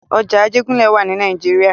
Ọjà Ajégúnlẹ̀ wà ní nàìjíría.